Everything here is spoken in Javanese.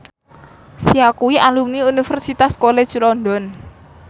Sia kuwi alumni Universitas College London